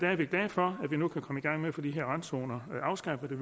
er vi glade for at vi nu kan komme i gang med at få de her randzoner afskaffet og